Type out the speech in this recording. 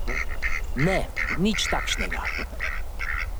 Ne, nič takšnega.